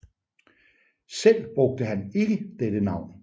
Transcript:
Selv brugte han ikke dette Navn